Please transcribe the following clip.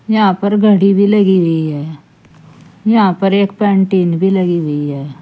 यहां पर घड़ी भी लगी हुई है। यहां पर एक पेन्टीन भी लगी हुई है।